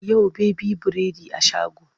Yau baby biredi a shago.